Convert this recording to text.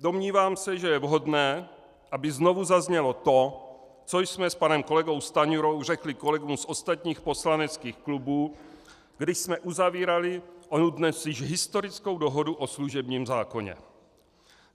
domnívám se, že je vhodné, aby znovu zaznělo to, co jsme s panem kolegou Stanjurou řekli kolegům z ostatních poslaneckých klubů, když jsme uzavírali onu dnes již historickou dohodu o služebním zákoně.